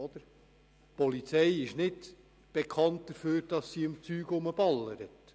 Die Polizei ist nicht dafür bekannt, dass sie rumballert.